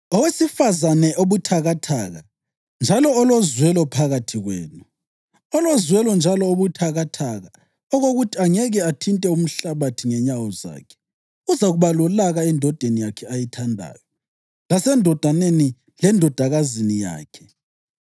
Owesifazane obuthakathaka njalo olozwelo phakathi kwenu, olozwelo njalo obuthakathaka okokuthi angeke athinte umhlabathi ngenyawo zakhe uzakuba lolaka endodeni yakhe ayithandayo lasendodaneni lendodakazini yakhe,